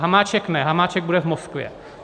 Hamáček ne, Hamáček bude v Moskvě.